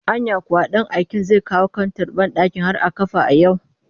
Anya kuwa ɗan aiken zai kawo kantar banɗakin har a kafa a yau